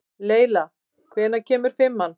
Leyla, hvenær kemur fimman?